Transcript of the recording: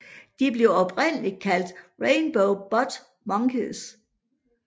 De blev oprindeligt kaldt Rainbow Butt Monkeys